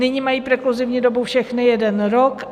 Nyní mají prekluzivní dobu všechny jeden rok.